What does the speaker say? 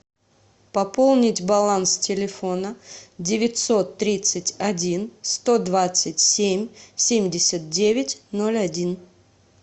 пополнить баланс телефона девятьсот тридцать один сто двадцать семь семьдесят девять ноль один